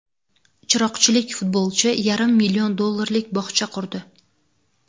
Chiroqchilik futbolchi yarim million dollarlik bog‘cha qurdi.